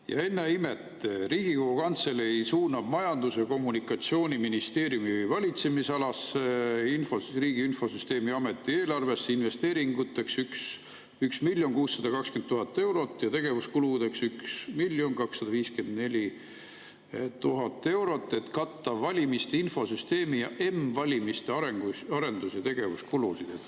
Ja ennäe imet, Riigikogu Kantselei suunab Majandus- ja Kommunikatsiooniministeeriumi valitsemisalasse Riigi Infosüsteemi Ameti eelarvesse investeeringuteks 1 620 000 eurot ja tegevuskuludeks 1 254 000 eurot, et katta valimiste infosüsteemi ja m‑valimiste arendus- ja tegevuskulusid.